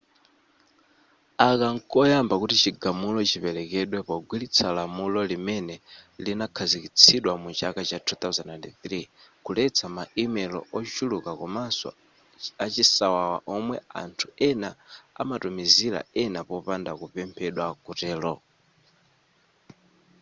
aka nkoyamba kuti chigamulo chipelekedwe pogwiritsa lamulo limene linakhazikitsidwa mu chaka cha 2003 kuletsa ma email ochuluka komanso a chisawawa omwe anthu ena amatumizila ena popanda kupemphedwa kutelo